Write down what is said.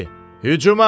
Hücuma!